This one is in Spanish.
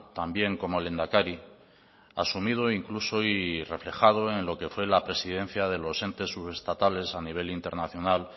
también como lehendakari asumido incluso y reflejado en lo que fue la presidencia de los entes subestatales a nivel internacional